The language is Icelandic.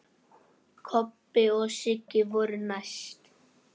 Kobbi og Sigga voru næst.